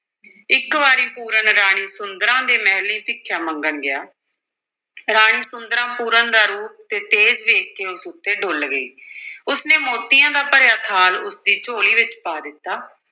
ਇੱਕ ਵਾਰੀ ਪੂਰਨ ਰਾਣੀ ਸੁੰਦਰਾਂ ਦੇ ਮਹਿਲੀਂ ਭਿਖਿਆ ਮੰਗਣ ਗਿਆ ਰਾਣੀ ਸੁੰਦਰਾਂ ਪੂਰਨ ਦਾ ਰੂਪ ਤੇ ਤੇਜ ਵੇਖ ਕੇ ਉਸ ਉੱਤੇ ਡੁੱਲ੍ਹ ਗਈ ਉਸ ਨੇ ਮੋਤੀਆਂ ਦਾ ਭਰਿਆ ਥਾਲ ਉਸ ਦੀ ਝੋਲੀ ਵਿੱਚ ਪਾ ਦਿੱਤਾ।